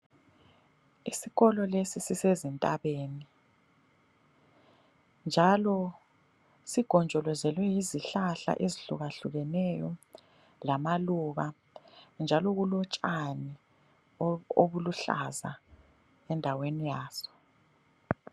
Isikolo lesi sisezintabeni ,njalo sigonjolezelwe yizihlahla ezihlukahlukeneyo lamaluba njalo kulotshani obuluhlaza endaweni yazo.